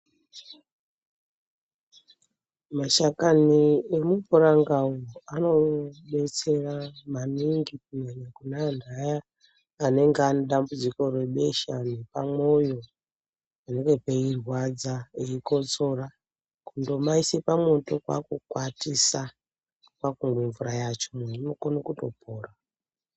Mashakani emupuranga anobetsera maningi kunyanya kune antu ayani anonga anedambudziko rebesha nepamwoyo panenge peirwadza weikotsora. Kundomaise pamwoto kwakukwatisa, kwakumwe mvura yacho, muntu unokone kutopora.